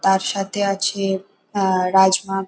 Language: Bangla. তাঁর সাথে আছে আহ রাজমা ।